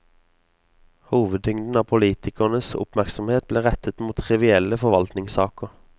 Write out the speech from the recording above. Hovedtyngden av politikernes oppmerksomhet ble rettet mot trivielle forvaltningssaker.